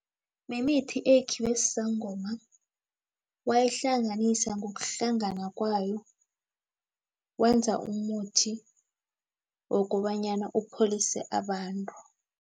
Mimithi eyikhiwe sisangoma wayihlanganisa ngokuhlangana kwayo, wenza umuthi wokobanyana upholise abantu.